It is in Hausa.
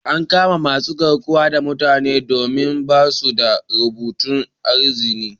An kama masun garkuwan da mutanen domin ba'su da rubutun izni.